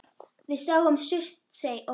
Við sáum Surtsey og fleira.